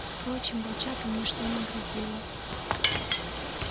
впрочем волчатам ничто не грозило